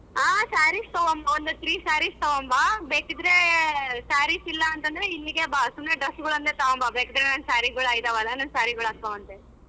ಹಾ sarees ತಗೊಂಬಾ ಒಂದು three sarees ತಗೊಂಬಾ ಬೇಕಿದ್ರೆ sarees ಇಲ್ಲಾಂದ್ರೆ ಇಲ್ಲಿಗೆ ಬಾ ಸುಮ್ನೆ dress ತಗೊಂಬಾ ಬೇಕಾದರೆ ನಾನ್ sarees ಗಳು ಇದ್ದವಲ್ಲ ನನ್ saree ಗಳ ಹಾಕೋಳವಂತೆ.